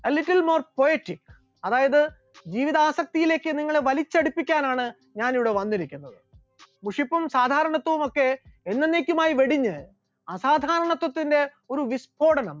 a little more quiet, അതായത് ജീവിതാസക്തിയിലേക്ക് നിങ്ങളെ വലിച്ചടുപ്പിക്കാനാണ് ഞാൻ ഇവിടെ വന്നിരിക്കുന്നത്, മുഷിപ്പും സാധാരണത്വവുമൊക്കെ എന്നെന്നേക്കുമായി വെടിഞ്ഞു ആസാധാരണത്വത്തിന്റെ ഒരു വിസ്ഫോടനം